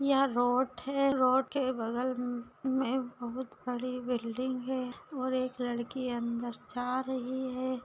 यह रोड है रोड के बगल मे बहुत बड़ी बिल्डिंग है और एक लड़की अंदर जा रही है।